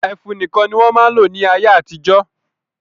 Ẹfun nìkan ni wọ́n máa ń lò ní ayé-àtijọ́.